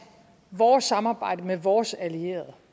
vores samarbejde med vores allierede